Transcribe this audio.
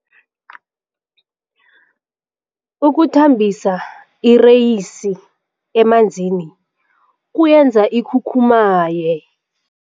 Ukuthambisa ireyisi emanzini kuyenza ikhukhumaye.